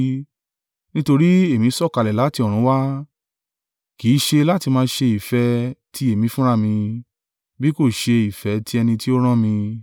Nítorí èmi sọ̀kalẹ̀ láti ọ̀run wá, kì í ṣe láti máa ṣe ìfẹ́ ti èmi fúnra mi, bí kò ṣe ìfẹ́ ti ẹni tí ó rán mi.